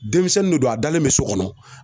Denmisɛnnin de don a dalen bɛ so kɔnɔ